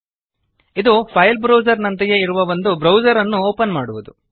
ಇದು file browser ನಂತೆಯೇ ಇರುವ ಒಂದು ಬ್ರೌಜರ್ ನ್ನು ಓಪನ್ ಮಾಡುವದು